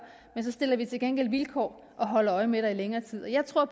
men så stiller vi til gengæld vilkår og holder øje med dig i længere tid jeg tror